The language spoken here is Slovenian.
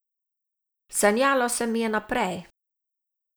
Sanjalo se mi je naprej.